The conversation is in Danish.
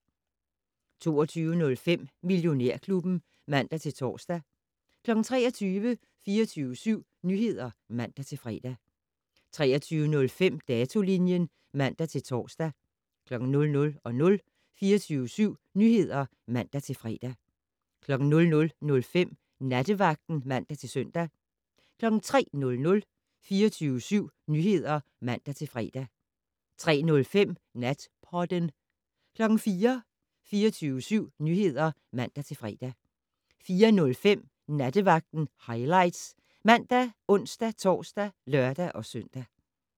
22:05: Millionærklubben (man-tor) 23:00: 24syv Nyheder (man-fre) 23:05: Datolinjen (man-tor) 00:00: 24syv Nyheder (man-fre) 00:05: Nattevagten (man-søn) 03:00: 24syv Nyheder (man-fre) 03:05: Natpodden 04:00: 24syv Nyheder (man-fre) 04:05: Nattevagten Highlights ( man, ons-tor, lør-søn)